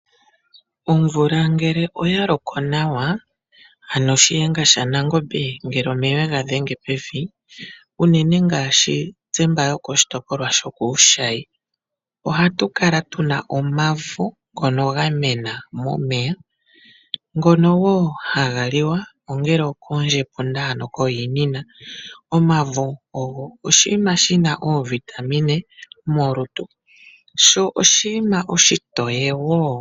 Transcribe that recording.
Omvula ngele oya loko nawa ano Shiyenga shaNangombe ngele omeya oye gadhenge pevi unene ngaashi tse mba yokoshitopolwa shokuushayi ohatu kala tuna omavo ngono ga mena momeya ngono wo haga liwa ongele okoondjepunda ano koohiinina. Omavo ogo oshinima shina oovitamine molutu sho oshinima oshitoye wo.